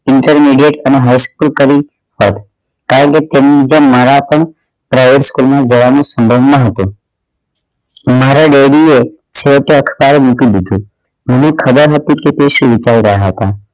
intermidate અને high school કરી છે કારણ કે તે મુજબ મારા પણ પ્રયાસ school માં ભણવાનું સંભવ ના હતું મારા father એ છેવટે મૂકી દીધું એમને ખબર હતી કે તે શું કહી રહ્યા હતા